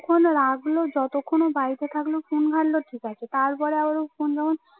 phone ও রাখল যতক্ষণ ও বাড়িতে থাকলো ফোন ঘাটলো ঠিক আছে তারপরে আবারো ফোন যখন